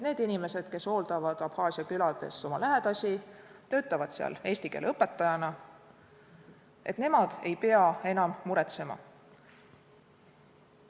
Need, kes hooldavad Abhaasia külades oma lähedasi, töötavad seal eesti keele õpetajana, ei pea enam muretsema.